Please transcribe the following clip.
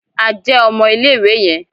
A jẹ ọmọ ilé-ìwé yẹn